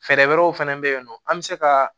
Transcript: Fɛɛrɛ wɛrɛw fɛnɛ bɛ yen nɔ an bɛ se ka